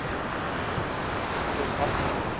to agt weke